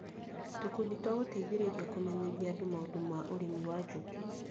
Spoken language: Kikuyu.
Tũkundi twa gũteithĩrĩria kũmenyithia andũ maũndũ ma ũrĩmi wa njukĩ